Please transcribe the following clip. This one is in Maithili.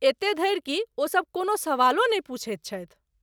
एते धरि कि ओ सभ कोनो सवालो नहि पूछैत छथि ।